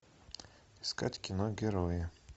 искать кино герои